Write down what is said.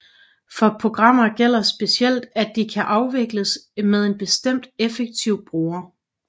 For programmer gælder specielt at de kan afvikles med en bestemt effektiv bruger